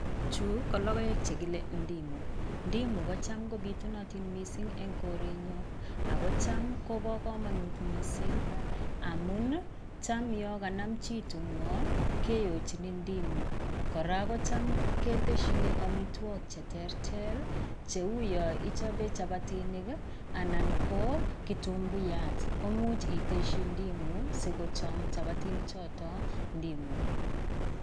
Chuu ko lokoek chekile ndimu, ndimu kocham kobitunotin mising en korenyon, akocham koboo komonut mising amun taam yoon kanam chii ting'oek kiyochin ndimu, kora kocham keteshin amitwokik cheterter cheuu yoon ichobee chapatinik i anan ko kitunguyat ko imuch iteshi ndimu sikochom chapatinichoton ndimu.